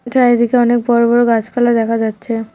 চারিদিকে অনেক বড় বড় গাছপালা দেখা যাচ্ছে।